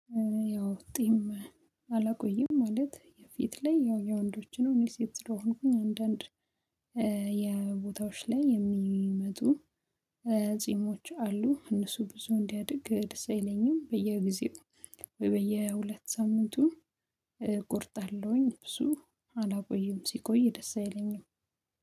ያው ጽም አላቆይም። ማለት የፊት ላይ ያው የወንዶች ነው እኔ ሴት ስለሆንኩኝ፤ አንዳንድ የቦታዎች ላይ የሚመጡ ጺሞች አሉ፤ እነሱ ብዙ እንዲያድግ ደስ አይለኝም በየጊዜው በየሁለት ሳምንቱን እቆርጣለሁኝ ብዙ አላቆይም ሲቆይ ደስ አይለኝም